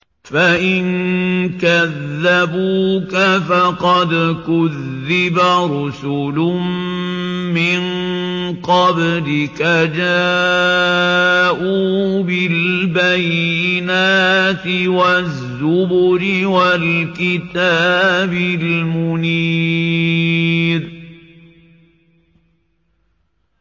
فَإِن كَذَّبُوكَ فَقَدْ كُذِّبَ رُسُلٌ مِّن قَبْلِكَ جَاءُوا بِالْبَيِّنَاتِ وَالزُّبُرِ وَالْكِتَابِ الْمُنِيرِ